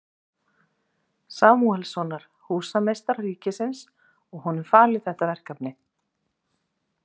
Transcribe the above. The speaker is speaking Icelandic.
Samúelssonar, húsameistara ríkisins, og honum falið þetta verkefni.